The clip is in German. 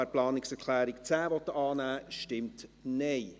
Wer die Planungserklärung 10 annehmen will, stimmt Nein.